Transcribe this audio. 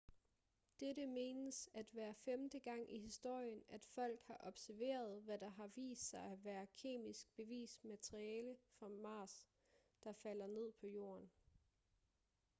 dette menes at være femte gang i historien at folk har observeret hvad der har vist sig at være kemisk bevist materiale fra mars der falder ned på jorden